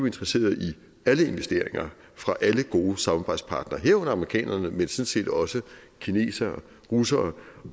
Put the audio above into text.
interesseret i alle investeringer fra alle gode samarbejdspartnere herunder amerikanerne men sådan set også kineserne russerne